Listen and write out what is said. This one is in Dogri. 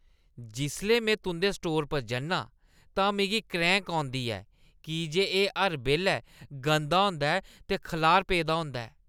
जिसलै में तुंʼदे स्टोर पर जन्नां तां मिगी क्रैंह्‌क औंदी ऐ की जे एह् हर बेल्लै गंदा होंदा ऐ ते खलार पेदा होंदा ऐ।